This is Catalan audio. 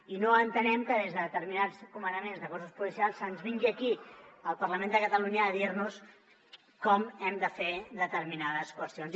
i no entenem que des de determinats comandaments de cossos policials se’ns vingui aquí al parlament de catalunya a dir nos com hem de fer determinades qüestions